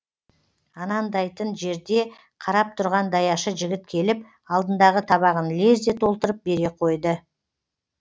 анандайтын жерде қарап тұрған даяшы жігіт келіп алдындағы табағын лезде толтырып бере қойды